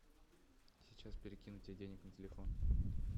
сейчас перекину тебе денег на телефон